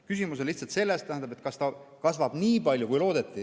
Küsimus on lihtsalt selles, kas ta kasvab nii palju, kui loodeti.